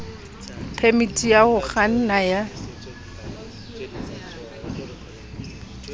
phemiti ya ho kganna ya